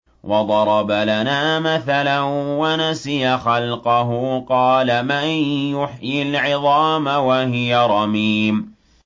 وَضَرَبَ لَنَا مَثَلًا وَنَسِيَ خَلْقَهُ ۖ قَالَ مَن يُحْيِي الْعِظَامَ وَهِيَ رَمِيمٌ